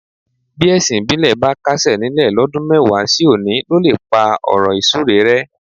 Bí ẹ̀sìn ìbílẹ̀ bá kásẹ̀ nílẹ̀ lọ́dún mẹ́wàá sí òní ló lè pá ọ̀rọ̀ ìsúre rẹ́.